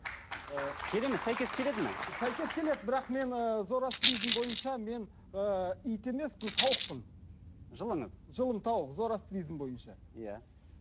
сәйкес келеді ме сәйкес келеді бірақ мен ііі зороастризм бойынша мен ыыы ит емеспін тауықпын жылыңыз жылым тауық зороастризм бойынша иә